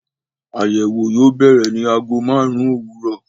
Àyẹ̀wò yóò bẹ̀rẹ̀ ní ago márùn-ún òwúrọ̀.